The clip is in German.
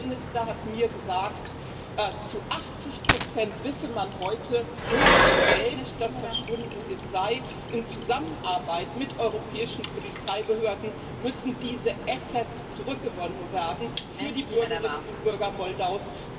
Der Premierminister hat mir gesagt, zu 80 wisse man heute, wo das Geld, das verschwunden ist, sei. In Zusammenarbeit mit europäischen Polizeibehörden müssen diese Assets zurückgewonnen werden für die Bürgerinnen und Bürger Moldaus.